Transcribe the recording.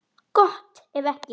Gott ef ekki.